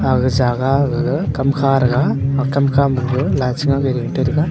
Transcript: aga jaga gaga kam kha tega kamkha ma pe lai che nga bu ring te tega.